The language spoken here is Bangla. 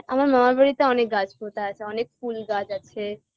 আমার মামার বাড়িতে অনেক গাছ পোতা আছে অনেক ফুল গাছ আছে